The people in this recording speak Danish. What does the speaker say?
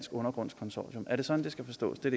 undergrunds consortium er det sådan det skal forstås det